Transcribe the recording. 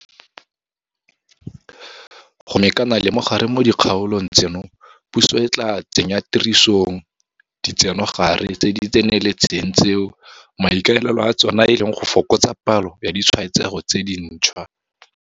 Go mekana le mogare mo dikgaolong tseno, puso e tla tsenyatirisong ditsenogare tse di tseneletseng tseo maikaelelo a tsona e leng go fokotsa palo ya ditshwaetsego tse dintšhwa.